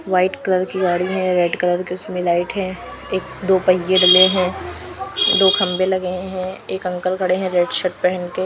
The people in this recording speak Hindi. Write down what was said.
वाइट कलर की गाड़ी है रेड कलर के उसमें लाइट है एक दो पहिए डले हैं दो खंभे लगे हैं एक अंकल खड़े हैं रेड शर्ट पहन के--